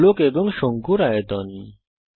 গোলক এবং শঙ্কুর আয়তন